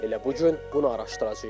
Elə bu gün bunu araşdıracağıq.